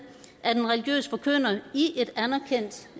at en religiøs forkynder i et anerkendt